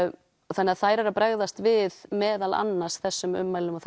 þannig þær eru að bregðast við meðal annars þessum ummælum og